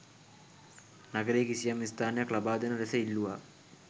නගරයේ කිසියම් ස්ථානයක් ලබාදෙන ලෙස ඉල්ලුවා.